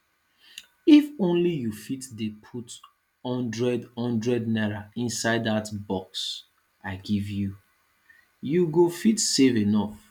if ony you fit dey put hundred hundred naira inside dat box i give you you go fit save enough